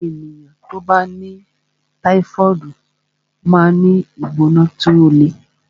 Àwọn ènìyàn tí ó bá ní táífọ̀ọdu máa ń ní ìgbóná tí ó le